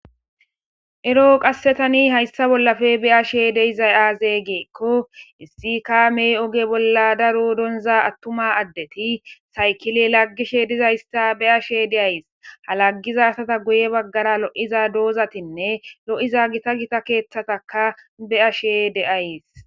Ero qasse tani hayssa bollappe be7ashe de7izay aaze geekko issi kaamey oge bolla daro donza attuma addeti saykile laggishe dizaysta be7ashe de7ays.ha laggiza asata guye baggara lo7iza doozatinne lo7iza gita gita keeththataka be ashe de7ays.